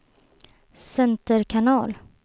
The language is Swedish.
center kanal